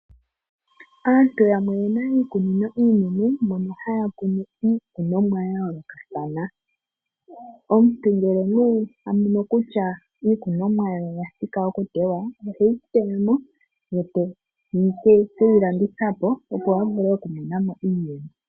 Aantu yamwe oye na iikunino iinene moka haya kunu iikunomwa ya yoolokathana. Omuntu ngele okwa mono kutya iikunomwa ye oya thika okutewa, oheyi teya mo e teke yi landitha po, opo a vule okumona mo iiyemo.